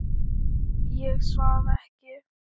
Ég svaf ekki.